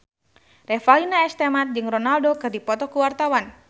Revalina S. Temat jeung Ronaldo keur dipoto ku wartawan